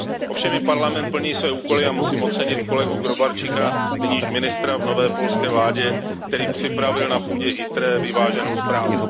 Ovšem i Parlament plní své úkoly a musím ocenit kolegu Gróbarczyka, nyní již ministra v nové polské vládě, který připravil na půdě ITRE vyváženou zprávu.